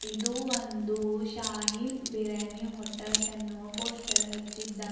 ಇದು ಒಂದು ಶಾಹಿನ್ ಬಿರ್ಯಾನಿ ಹೋಟೆಲ್ ಎನ್ನುವ ಪೋಸ್ಟರ್ ಹಚ್ಚಿದ್ದಾರೆ.